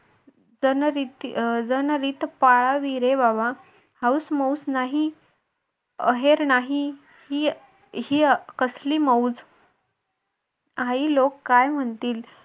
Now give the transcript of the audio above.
जनरिती जनरीत पाळावी रे बाबा हौस मौस नाही आहेर नाही ही कसली मौज आई लोक काय म्हणतील